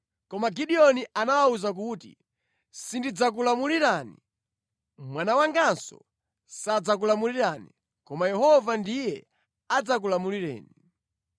Koma Gideoni anawawuza kuti, “Sindidzakulamulirani, mwana wanganso sadzakulamulirani. Koma Yehova ndiye adzakulamulirani.”